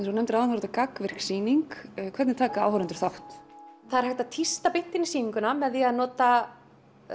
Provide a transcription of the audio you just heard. þú nefndir áðan er þetta gagnvirk sýning hvernig taka áhorfendur þátt það er hægt að tísta beint inn í sýninguna með því að nota